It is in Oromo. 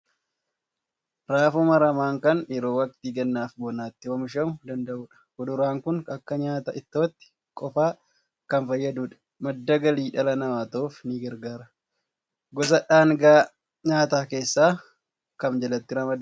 Raafuu maramaan kan yeroo waqtii gannaa fi bonaatti oomishamuu danda'u dha. Fuduraan kun akka nyaata ittootti qofaa kan fayyaduu dha. Madda galii dhala namaa ta'uuf ni gargaara. Gosa dhaangaa nyaataa keessaa kam jalatti ramadama?